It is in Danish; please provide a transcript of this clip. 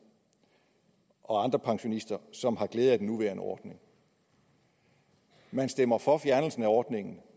og andre pensionister som har glæde af den nuværende ordning man stemmer for fjernelsen af ordningen og